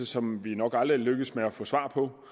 som vi nok aldrig lykkes med at få svar på